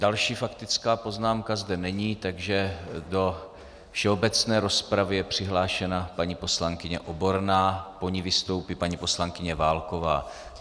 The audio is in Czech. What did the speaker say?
Další faktická poznámka zde není, takže do všeobecné rozpravy je přihlášena paní poslankyně Oborná, po ní vystoupí paní poslankyně Válková.